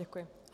Děkuji.